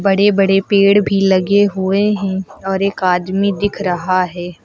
बड़े बड़े पेड़ भी लगे हुए हैं और एक आदमी दिख रहा है।